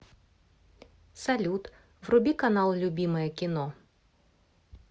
салют вруби канал любимое кино